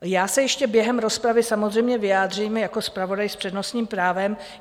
Já se ještě během rozpravy samozřejmě vyjádřím jako zpravodaj s přednostním právem.